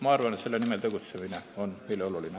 Ma arvan, et selle nimel tegutsemine on meile oluline.